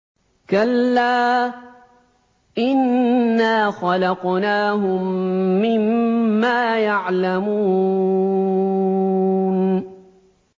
كَلَّا ۖ إِنَّا خَلَقْنَاهُم مِّمَّا يَعْلَمُونَ